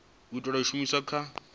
itelwa u shumiswa kha risetshe